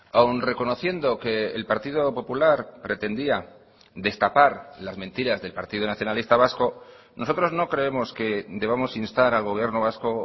aun reconociendo que el partido popular pretendía destapar las mentiras del partido nacionalista vasco nosotros no creemos que debamos instar al gobierno vasco